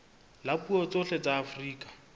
la dipuo tsohle tsa afrika